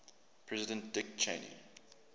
president dick cheney